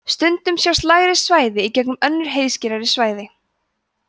stundum sjást lægri svæði í gegnum önnur heiðskírari svæði